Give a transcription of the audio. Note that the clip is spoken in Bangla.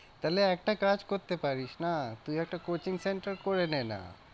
তাহলে একটা কাজ করতে পারিস না, তুই একটা coaching center করে নে না।